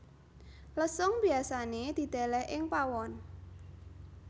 Lesung biasané didèlèh ing pawon